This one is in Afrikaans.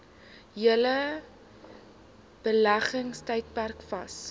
hele beleggingstydperk vas